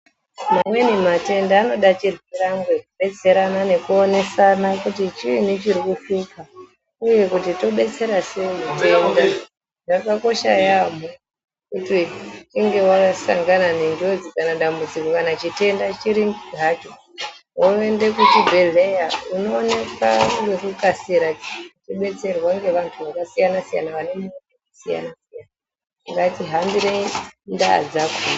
Mamweni matenda anoda chirwirange, kudetserana, nekuonesana kuti chiinyi chiri kuhlupa uye kuti tobetsera sei mutenda. Zvakaosha yamho kuti weinge asangana nenjodzi kanadambudziko kana chitenda chiri hacho woende kuchibhedhleya unoonekwa ngekukasira wodetserwa ngevantu zvakasiyana siyana vane ruzivo rwakasiyana siyana .Ngatihambire ndaa dzakhona.